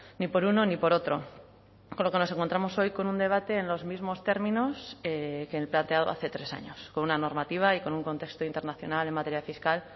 ni por uno ni por otro con lo que nos encontramos hoy con un debate en los mismos términos que el planteado hace tres años con una normativa y con un contexto internacional en materia fiscal